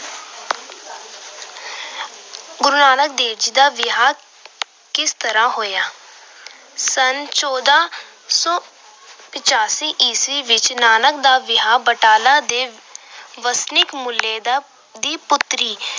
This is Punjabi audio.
ਗੁਰੂ ਨਾਨਕ ਦੇਵ ਜੀ ਦਾ ਵਿਆਹ ਕਿਸ ਤਰ੍ਹਾਂ ਹੋਇਆ। ਸੰਨ ਚੌਦਾ ਸੌ ਪਚਾਸੀ ਈਸਵੀ ਵਿੱਚ ਨਾਨਕ ਦਾ ਵਿਆਹ ਬਟਾਲਾ ਦੇ ਵਸਨੀਕ ਮੂਲ ਦੀ ਪੁੱਤਰੀ